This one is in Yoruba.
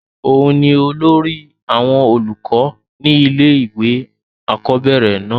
òun ni olórí àwọn olùkọ́ ni ilé ìwé àkọ́bẹ̀rẹ̀ náà